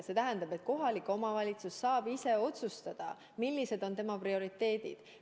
See tähendab, et kohalik omavalitsus saab ise otsustada, millised on tema prioriteedid.